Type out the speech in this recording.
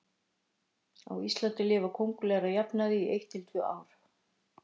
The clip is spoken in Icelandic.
Á Íslandi lifa kóngulær að jafnaði í eitt til tvö ár.